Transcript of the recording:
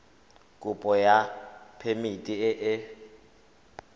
kopo ya phemiti e e